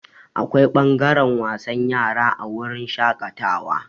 Akwai ɓangaren wasan yara a wurin shaƙatawa.